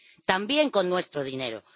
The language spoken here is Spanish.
También con nuestro dinero.